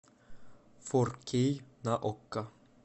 фор кей на окко